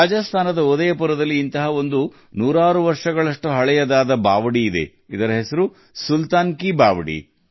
ರಾಜಸ್ಥಾನದ ಉದಯಪುರದಲ್ಲಿ ನೂರಾರು ವರ್ಷಗಳಷ್ಟು ಹಳೆಯದಾದ ಅಂತಹ ಒಂದು ಮೆಟ್ಟಿಲು ಬಾವಿ ಇದೆ ಅದುವೇ ಸುಲ್ತಾನ್ ಕಿ ಬಾವೊಲಿ